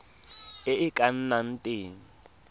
e e ka nnang teng